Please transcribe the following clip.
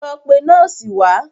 Lọ pe nọ́ọ̀sì wá!